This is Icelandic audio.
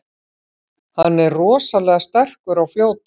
Hann er rosalega sterkur og fljótur.